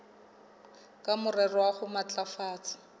ka morero wa ho matlafatsa